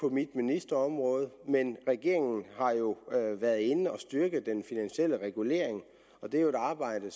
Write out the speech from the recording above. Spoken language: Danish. på mit ministerområde men regeringen har jo været inde at styrke den finansielle regulering og det er et arbejde